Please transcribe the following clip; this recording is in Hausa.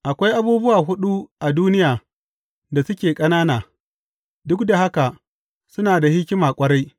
Akwai abubuwa huɗu a duniya da suke ƙanana, duk da haka suna da hikima ƙwarai.